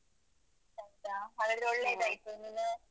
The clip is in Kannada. ಹೌದಾ? ಹಾಗಾದ್ರೆ ಒಳ್ಳೇದಾಯ್ತು.